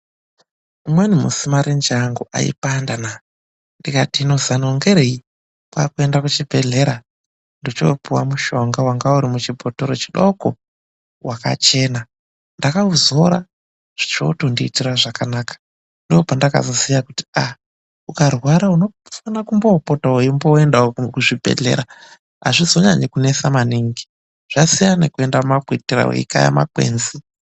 Umweni musi marenje angu aipanda Mani ndikati hino zano ngerei kwekuenda kuchibhedhlera ndochopuwa mushonga wanga urimu chibhotoro chidoko wakachena ndakauzora chocho tondiitira zvakanaka ndopandakazoziya kuti aaa ukarwara unofana kumbopota wo weienda kuzvibhedhlera azvizonyanyi kunetsa maningi zvasiyana nekuenda mumakwitira weikaya makwenzi.